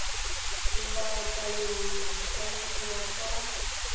lobakanyana di ka dirwa kwa